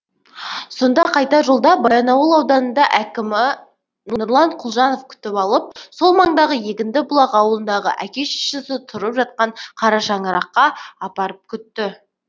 сонда қайтар жолда баянауыл ауданында әкімі нұрлан құлжанов күтіп алып сол маңдағы егіндібұлақ ауылындағы әке шешесі тұрып жатқан қара шаңыраққа апарып күтті